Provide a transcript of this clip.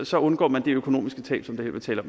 så undgår man det økonomiske tab som vi taler